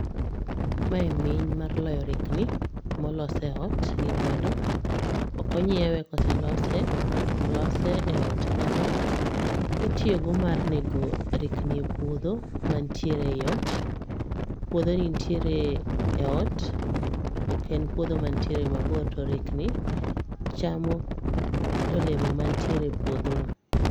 Mae miny mar loyo rikni molos e ot gi lwedo, ok onyiewe koselose, olose e ot kanyo. Itiyogo mar nego rikni e puodho mantiere ei ot. Puodhoni nitiere ei ot ok en puodho mantiere mabor to rikni chamo olemo mantiere e puodhono.